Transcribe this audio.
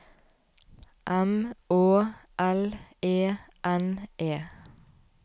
M Å L E N E